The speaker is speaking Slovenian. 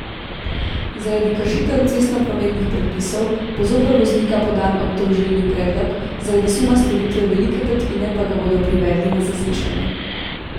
Zaradi kršitev cestnoprometnih predpisov bo zoper voznika podan obdolžilni predlog, zaradi suma storitve velike tatvine pa ga bodo privedli na zaslišanje.